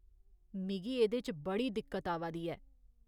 मिगी एह्दे च बड़ी दिक्कत आवा दी ऐ।